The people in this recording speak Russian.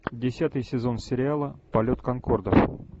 десятый сезон сериала полет конкордов